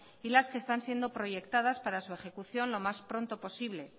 y las que están siendo proyectadas para su ejecución lo más pronto posible